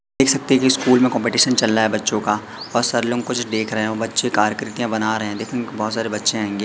देखा सकते हैं स्कूल में कंपटीशन चल रहा है बच्चों का और सर लोग कुछ देख रहे हो बच्चे कार्य आकृतियां बना रहे हैं दिखने बहोत सारे बच्चे आएंगे--